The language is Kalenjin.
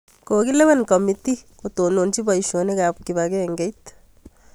Kokilewen kamitiit kotononchi poisyonik ap kipakengeit